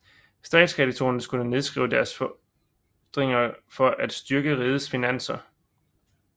Statskreditorerne skulle nedskrive deres fordringer for at styrke rigets finanser